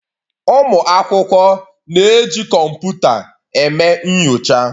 Ụmụ akwụkwọ na-eji kọmputa eme nyocha.